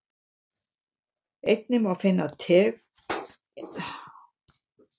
Einnig má finna tengd svör með því að smella á efnisorðin hér fyrir neðan.